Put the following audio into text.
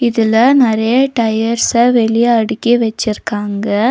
இதுல நெறைய டயர்ஸ்ஸ வெளிய அடுக்கி வச்சிருக்காங்க.